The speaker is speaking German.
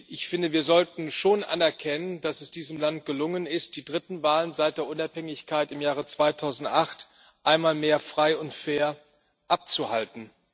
Ich finde, wir sollten schon anerkennen, dass es diesem Land gelungen ist, die dritten Wahlen seit der Unabhängigkeit im Jahr 2008 einmal mehr frei und fair abzuhalten.